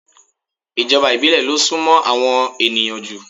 Ìjọba ìbílẹ̀ lo súnmó àwọn ènìyàn jù